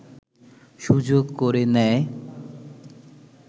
সুযোগ করে নেয়